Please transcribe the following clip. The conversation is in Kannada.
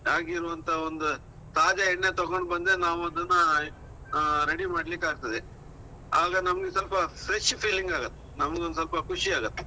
ಆಗಿರುವಂತ ಒಂದು ತಾಜಾ ಎಣ್ಣೆ ತಗೊಂಡು ಬಂದ್ರೆ ನಾವ್ ಅದನ್ನಾ ಆ ready ಮಾಡ್ಲಿಕ್ಕೆ ಆಗ್ತದೆ. ಆಗ ನಮ್ಗೆ ಸ್ವಲ್ಪ fresh feeling ಆಗತ್ತೆ. ನಮ್ಗೊಂದು ಸ್ವಲ್ಪ ಖುಷಿ ಆಗತ್ತೆ.